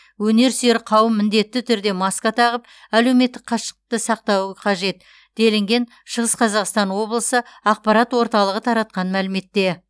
өнерсүйер қауым міндетті түрде маска тағып әлеуметтік қашықтықты сақтауы қажет делінген шығыс қазақстан облысы ақпарат орталығы таратқан мәліметте